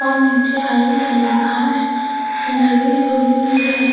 और नीचे हरी हरी घास लगी हुई है --